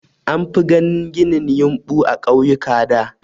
An fi ganin ginin yumɓu a ƙauyuka da.